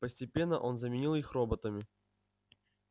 постепенно он заменил их роботами